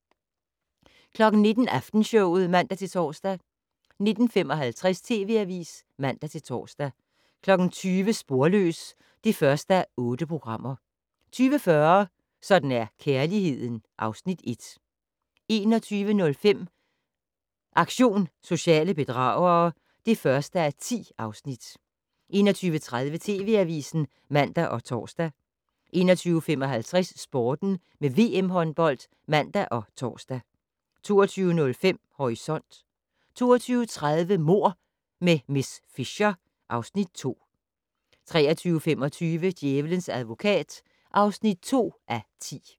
19:00: Aftenshowet (man-tor) 19:55: TV Avisen (man-tor) 20:00: Sporløs (1:8) 20:40: Sådan er kærligheden (Afs. 1) 21:05: Aktion sociale bedragere (1:10) 21:30: TV Avisen (man og tor) 21:55: Sporten med VM håndbold (man og tor) 22:05: Horisont 22:30: Mord med miss Fisher (Afs. 2) 23:25: Djævelens advokat (2:10)